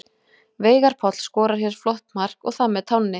Veigar Páll skorar hér flott mark og það með tánni!